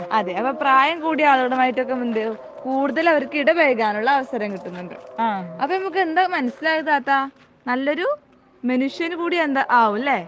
അതെ അപ്പൊ പ്രായം കൂടിയ ആളുകളുമായിട്ട് ഒക്കെ കൂടുതൽ അവർക്ക് ഇടപെഴകാൻ ഉള്ള അവസരം കിട്ടുന്നുണ്ട്. അപ്പൊ നമുക്ക് എന്താ മനസിയിലായത് താത്ത നല്ലൊരു മനുഷ്യൻ കൂടി ആവും ലെ